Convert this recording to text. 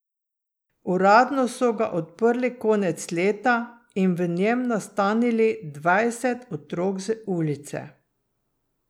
Uradno so ga odprli konec leta in v njem nastanili dvajset otrok z ulice.